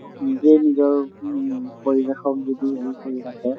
নিজৰ নিজৰ উম পৰিবেশক যদি হেৰি কৰি ৰাখে